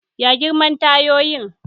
Ya girman tayoyin?